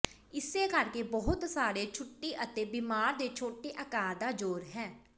ਇਸੇ ਕਰਕੇ ਬਹੁਤ ਸਾਰੇ ਛੁੱਟੀ ਅਤੇ ਬਿਮਾਰ ਦੇ ਛੋਟੇ ਆਕਾਰ ਦਾ ਜ਼ੋਰ ਹੈ